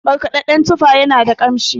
markadadden tufa yana da kanshin